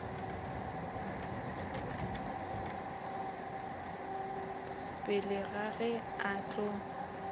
pele ga ge a tlo